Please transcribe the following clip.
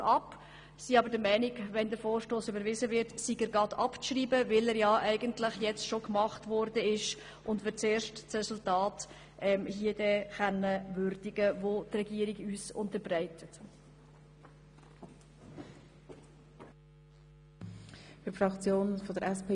Wir sind aber der Meinung, dass der Vorstoss, wenn er überwiesen wird, gleichzeitig abzuschreiben ist, weil wir zuerst das Resultat, welches uns die Regierung unterbreitet, würdigen wollen.